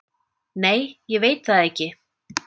Nei, ég veit það ekki